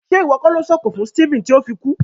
Ṣe iwọ ko lo sọ̀kọ̀ fún Stephen ti o fi kú?